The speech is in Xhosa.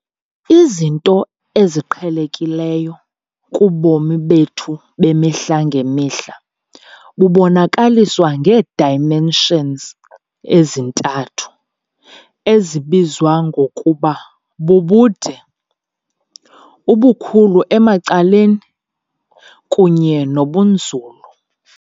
Izinto "eziqhelekileyo" kubomi bethu bemihla ngemihla bubonakaliswa ngee-dimensions ezintathu, ezibizwa ngokuba bubude, ubukhulu emacaleni, kunye nobunzulu.